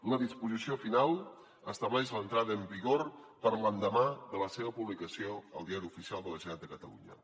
la disposició final estableix l’entrada en vigor per a l’endemà de la seva publicació al diari oficial de la generalitat de catalunya